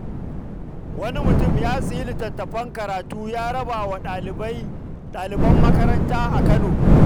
Wani mutum ya sayi littattafan karatu ya raba wa ɗaliban makaranta a Kano.